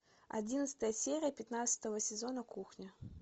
одиннадцатая серия пятнадцатого сезона кухня